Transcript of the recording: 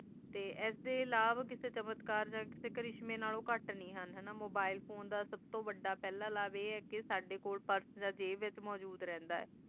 ਤੇ ਐਸ ਤੇ ਅਲਾਵਾ ਕਿਆਸੀ ਚਮਤਕਾਰ ਕਿਸੀ ਕ੍ਰਿਸ਼ਮਈ ਨਾਲੋਂ ਘੁੱਟ ਨੇ ਹੈ ਹੀ Mobile phone ਦਾ ਸਬ ਤੋਂ ਵਾਡਾ ਲਾਵ ਆਈ ਹਾਯ ਕ ਸਾਡੀ ਕੋਲ ਪੁਰਸ਼ ਆ ਜੇਬ ਵਿਚ ਮੋਜੋੜ ਰਹਿੰਦਾ ਹੈ ਆਏ